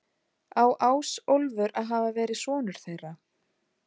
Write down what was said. Á Ásólfur að hafa verið sonur þeirra.